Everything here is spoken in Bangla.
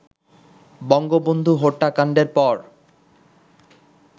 বঙ্গবন্ধু হত্যাকাণ্ডের পর